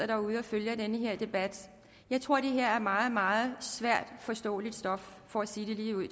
derude og følger den her debat jeg tror det her er meget meget svært forståeligt stof for at sige det ligeud